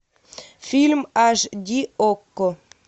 фильм аш ди окко